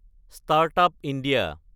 start-up India